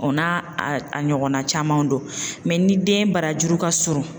O n'a a ɲɔgɔnna caman don ni den barajuru ka surun